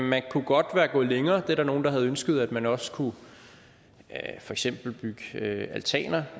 man kunne godt være gået længere der er nogle der har ønsket at man også kunne bygge altaner